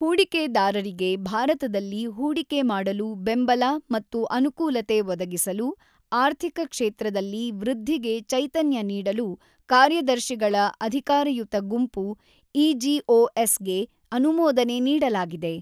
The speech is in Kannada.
ಹೂಡಿಕೆದಾರರಿಗೆ ಭಾರತದಲ್ಲಿ ಹೂಡಿಕೆ ಮಾಡಲು ಬೆಂಬಲ ಮತ್ತು ಅನುಕೂಲತೆ ಒದಗಿಸಲು, ಆರ್ಥಿಕ ಕ್ಷೇತ್ರದಲ್ಲಿ ವೃದ್ಧಿಗೆ ಚೈತನ್ಯ ನೀಡಲು ಕಾರ್ಯದರ್ಶಿಗಳ ಅಧಿಕಾರಯುತ ಗುಂಪು ಇಜಿಓಎಸ್ ಗೆ ಅನುಮೋದನೆ ನೀಡಲಾಗಿದೆ.